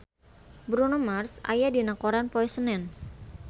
Bruno Mars aya dina koran poe Senen